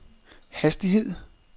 hastighed